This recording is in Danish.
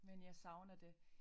Men jeg savner det